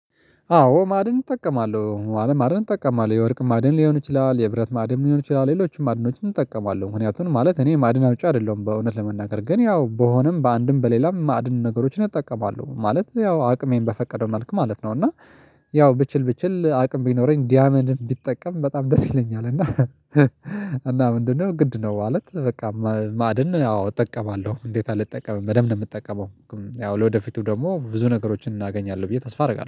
አዎ ማዕድን እጠቀማለሁ ማለት ማዕድን እጠቀማለሁ የወርቅ ማዕድን ሊሆን ይችላል የብረት ማዕድን ሊሆን ይችላል ሌሎችም ማዕድኖችን እጠቀማለሁ ምክንያቱም ማለት እኔ ማዕድን አውጪ አይደለሁም በእውነት ለመናገር ግን ያው በሆነም በአንድም በሌላም ማዕድን ነገሮችን እጠቀማለሁ ማለት ያው አቅሜን በፈቀደው መልኩ ማለት ነው። እና ያው ብችል ብችል አቅም ቢኖረኝ ዳይመንድ ቢጠቀም በጣም ደስ ይለኛል። እና እና ምንድነው ግድ ነው? ማለት በቃ ማዕድን አዎ እጠቀማለሁ እንዴት አልጠቀምም በደንብ ነው የምጠቀመው። ያው ለወደፊቱ ደግሞ ብዙ ነገሮችን አገኛለሁ ብዬ ተስፋ አደርጋለሁ